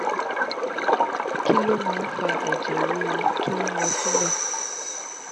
kí ló máa ń fa ẹ̀jẹ̀ ruru to lo sile?